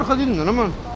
Var xodlayın, deyilmi?